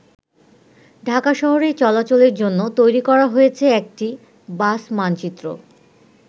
ঢাকা শহরে চলাচলের জন্য তৈরি করা হয়েছে একটি 'বাস মানচিত্র'।